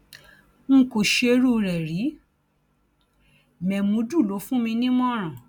n kò ṣerú rẹ rí mémúdù ló fún mi nímọràn